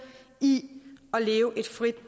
i at leve et frit